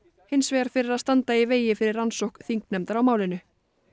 hins vegar fyrir að standa í vegi fyrir rannsókn þingnefndar á málinu